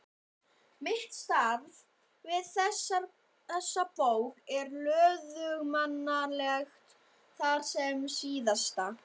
Mitt starf við þessa bók er löðurmannlegt þar sem SÍÐASTA